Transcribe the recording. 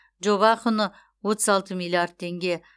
жоба құны отыз алты миллиард теңге